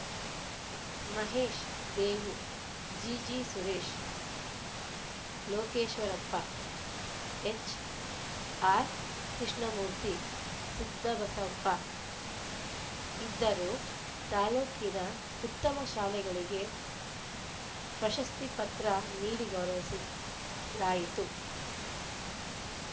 Mahesh Devu GG Suresh Lokeshwarappa HR Krishnamurthy Siddhabasappa ಇದ್ದರು ತಾಲೂಕಿನ ಉತ್ತಮ ಶಾಲೆಗಳಿಗೆ ಪ್ರಶಸ್ತಿಪತ್ರ ನೀಡಿ ಗೌರವಿಸಲಾಯಿತು